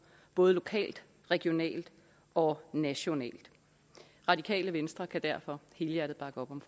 både lokalt regionalt og nationalt radikale venstre kan derfor helhjertet bakke op om